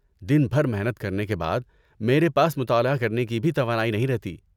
دن بھر محنت کرنے کے بعد، میرے پاس مطالعہ کرنے کی بھی توانائی نہیں رہتی۔